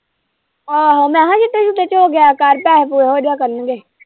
ਆਹੋ ਮੈਂ ਕਿਹਾ ਛਿੱਟੇ-ਛੂਟੇ ਚੋ ਗਾਇਬ ਕਰ ਤਾਂ ਆਪ ਉਹੋ ਜਿਹਾ ਕਰਨਗੇ।